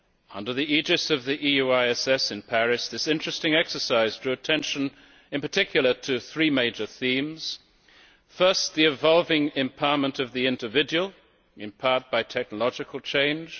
Under the aegis of the EUISS in Paris, this interesting exercise drew attention, in particular, to three major themes. First, the evolving empowerment of the individual, empowered by technological change